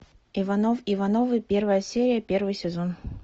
иванов ивановы первая серия первый сезон